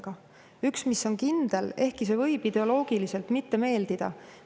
Aga üks asi on kindel, ehkki see võib ideoloogiliselt mitte meeldida.